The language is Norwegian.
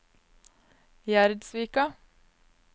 Gjerdsvika